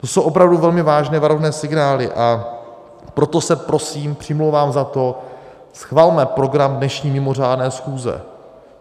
To jsou opravdu velmi vážné varovné signály, a proto se prosím přimlouvám za to, schvalme program dnešní mimořádné schůze.